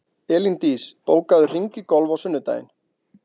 Elíndís, bókaðu hring í golf á sunnudaginn.